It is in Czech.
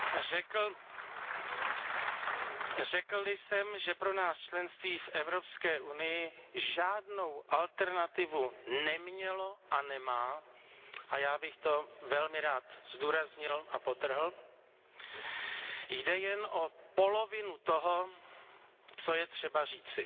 Řekl li jsem, že pro nás členství v Evropské unii žádnou alternativu nemělo a nemá a já bych to velmi rád zdůraznil a podtrhl jde jen o polovinu toho, co je třeba říci.